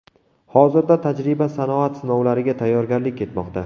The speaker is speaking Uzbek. Hozirda tajriba-sanoat sinovlariga tayyorgarlik ketmoqda.